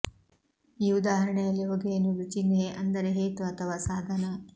ಈ ಉದಾಹರಣೆಯಲ್ಲಿ ಹೊಗೆ ಎನ್ನುವುದು ಚಿನ್ಹೆ ಅಂದರೆ ಹೇತು ಅಥವಾ ಸಾಧನ